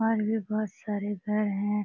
और भी बोहोत सारे घर है।